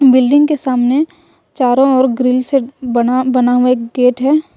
Building के सामने चारों ओर ग्रिल से बना बना हुआ एक गेट है।